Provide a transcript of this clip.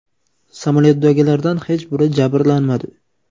Samolyotdagilardan hech biri jabrlanmadi.